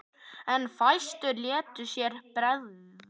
En fæstir létu sér bregða.